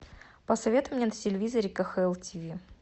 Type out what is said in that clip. посоветуй мне на телевизоре кхл тв